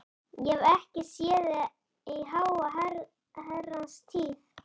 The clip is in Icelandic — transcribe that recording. Ég hef ekki séð þig í háa herrans tíð.